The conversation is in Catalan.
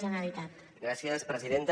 gràcies presidenta